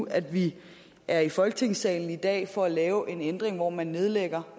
at vi er i folketingssalen i dag for at lave en ændring hvor man nedlægger